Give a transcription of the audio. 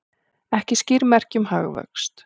Ekki skýr merki um hagvöxt